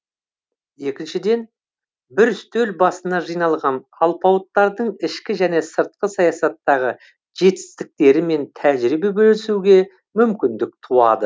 екіншіден бір үстел басына жиналған алпауыттардың ішкі және сыртқы саясаттағы жетістіктерімен тәжірибе бөлісуге мүмкіндік туады